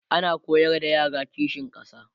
ana koyar da yara kishin ƙasa